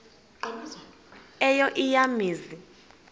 eyo eya mizi